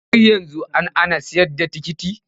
Har yanzu an ana sayar da ticket?